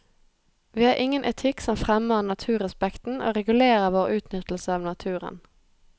Vi har ingen etikk som fremmer naturrespekten og regulerer vår utnyttelse av naturen.